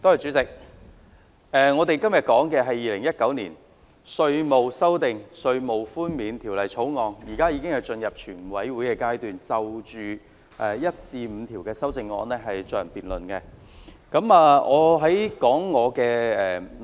主席，我們討論的是《2019年稅務條例草案》，而現在，我們已進入全體委員會階段，就《條例草案》第1至5條進行辯論。